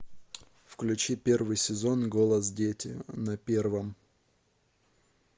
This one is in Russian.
включи первый сезон голос дети на первом